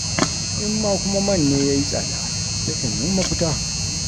In ma kuma man ne ya yi tsada, sai ka nemi mafita.